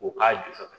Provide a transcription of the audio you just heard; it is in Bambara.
U k'a jɔ ka